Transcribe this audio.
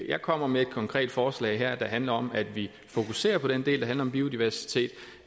jeg kommer med et konkret forslag her der handler om at vi fokuserer på den del der handler om biodiversitet